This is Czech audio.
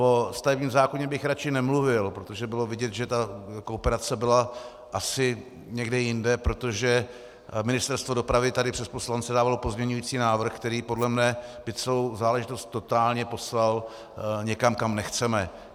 O ústavním zákoně bych radši nemluvil, protože bylo vidět, že ta kooperace byla asi někde jinde, protože Ministerstvo dopravy tady přes poslance dávalo pozměňující návrh, který podle mě by celou záležitost totálně poslal někam, kam nechceme.